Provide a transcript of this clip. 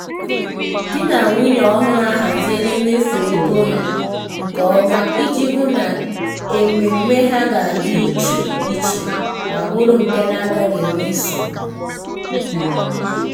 di na nwunye ọhụrụ haziri mmefu ego ha nke ọma iji hụ na emume ha ga-adị iche iche ma bụrụ nke na-agaghi enwe nsogbu.